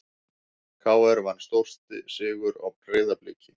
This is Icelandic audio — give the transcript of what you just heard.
KR vann stórsigur á Breiðabliki